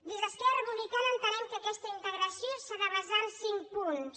des d’esquerra republicana entenem que aquesta integració s’ha de basar en cinc punts